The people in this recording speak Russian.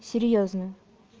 серьёзно